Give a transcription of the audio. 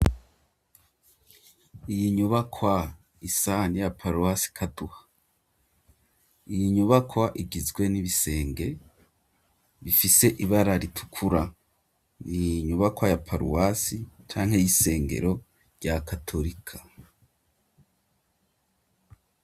Iyi nyubakwa isa niya paruwasi Kaduha. Iyi nyubakwa igizwe n'ibisenge bifise ibara ritukura, ni inyubakwa ya paruwasi canke y'isengero rya Katolika.